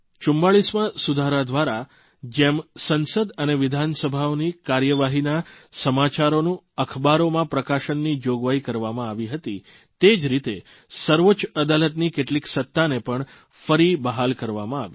44મા સુધારા દ્વારા જેમ સંસદ અને વિધાનસભાઓની કાર્યવાહીના સમાચારોનું અખબારોમાં પ્રકાશનની જોગવાઇ કરવામાં આવી હતી તે રીતે જ સર્વોચ્ચ અદાલતની કેટલીક સત્તાને પણ ફરી બહાલ કરવામાં આવી